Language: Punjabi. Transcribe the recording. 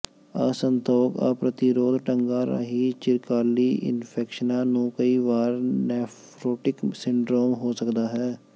ਅਸੰਤੋਖ ਪ੍ਰਤੀਰੋਧ ਢੰਗਾਂ ਰਾਹੀਂ ਚਿਰਕਾਲੀ ਇਨਫੈਕਸ਼ਨਾਂ ਨੂੰ ਕਈ ਵਾਰ ਨੈਫਰੋਟਿਕ ਸਿੰਡਰੋਮ ਹੋ ਸਕਦਾ ਹੈ